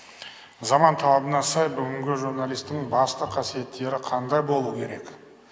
заман талабына сай бүгінгі журналисттің басты қасиеттері қандай болу керек